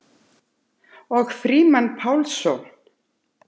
Og Frímann Pálsson.